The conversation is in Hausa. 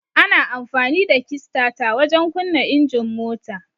Ana amfani da kistata wajen kunna injin mota.